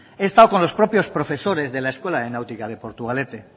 he estado con los propios profesores de la escuela de náutica de portugalete